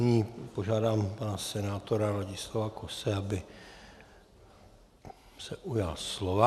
Nyní požádám pana senátora Ladislava Kose, aby se ujal slova.